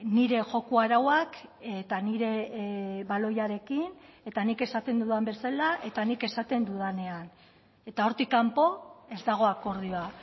nire joko arauak eta nire baloiarekin eta nik esaten dudan bezala eta nik esaten dudanean eta hortik kanpo ez dago akordioa